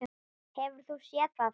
Hefur þú séð það?